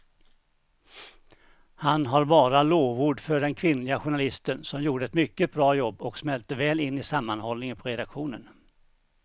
Han har bara lovord för den kvinnliga journalisten som gjorde ett mycket bra jobb och smälte väl in i sammanhållningen på redaktionen.